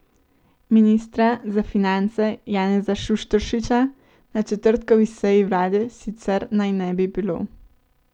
Ministra za finance Janeza Šušteršiča na četrtkovi seji vlade sicer naj ne bi bilo.